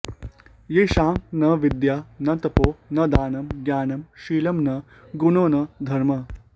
येषां न विद्या न तपो न दानं ज्ञानं शीलं न गुणो न धर्मः